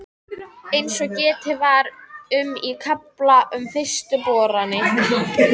Eins og getið var um í kafla um fyrstu boranir